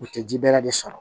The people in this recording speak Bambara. U tɛ jirɛ de sɔrɔ